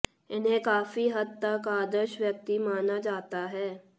इन्हें काफी हद तक आदर्श व्यक्ति माना जाता है